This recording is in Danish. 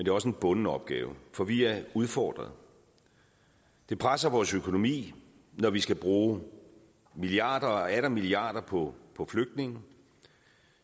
er også en bunden opgave for vi er udfordret det presser vores økonomi når vi skal bruge milliarder og atter milliarder på flygtninge